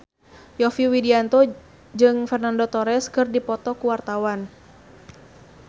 Yovie Widianto jeung Fernando Torres keur dipoto ku wartawan